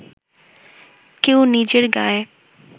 কেউ নিজের গায়ে